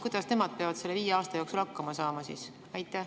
Kuidas nemad peavad selle viie aasta jooksul hakkama saama?